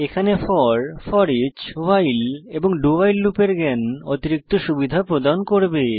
এখানে for foreach while এবং do while লুপের জ্ঞান অতিরিক্ত সুবিধা প্রদান করবে